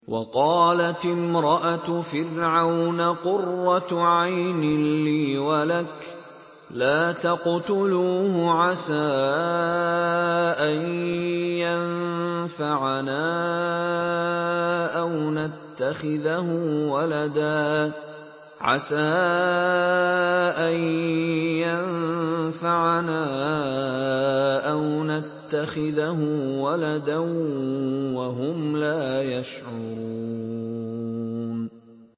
وَقَالَتِ امْرَأَتُ فِرْعَوْنَ قُرَّتُ عَيْنٍ لِّي وَلَكَ ۖ لَا تَقْتُلُوهُ عَسَىٰ أَن يَنفَعَنَا أَوْ نَتَّخِذَهُ وَلَدًا وَهُمْ لَا يَشْعُرُونَ